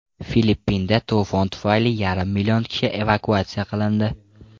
Filippinda to‘fon tufayli yarim million kishi evakuatsiya qilindi.